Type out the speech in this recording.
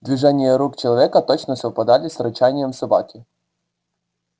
движения рук человека точно совпадали с рычанием собаки